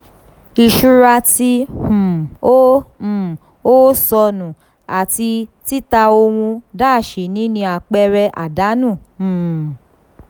iṣura tí um o um o sọnu àti tita ohun-ini ni àpẹẹrẹ àdánù. um